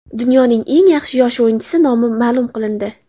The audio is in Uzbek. Dunyoning eng yaxshi yosh o‘yinchisi nomi ma’lum qilindi.